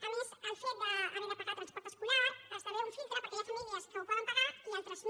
a més el fet d’haver de pagar transport escolar esdevé un filtre perquè hi ha famílies que el poden pagar i altres no